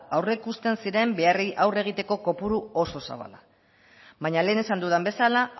aurre ikusten ziren beharrei aurre egiteko kopuru oso zabala baina lehen esan dudan bezala